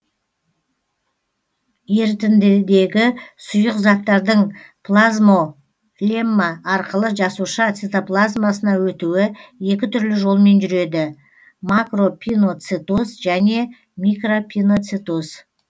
ерітіндідегі сұйық заттардың плазмолемма арқылы жасуша цитоплазмасына өтуі екі түрлі жолмен жүреді макропиноцитоз және микропиноцитоз